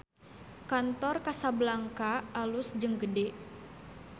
Kantor Casablanca alus jeung gede